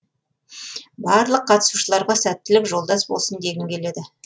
барлық қатысушыларға сәттілік жолдас болсын дегім келеді